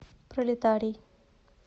пролетарий